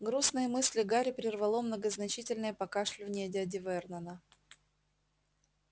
грустные мысли гарри прервало многозначительное покашливание дяди вернона